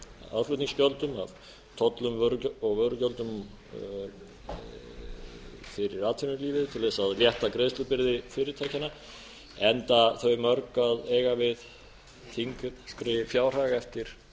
aðflutningsgjöldum af tollum og vörugjöldum fyrir atvinnulífið til að létta greiðslubyrði fyrirtækjanna enda þau mörg að eiga við þyngri fjárhag eftir hrun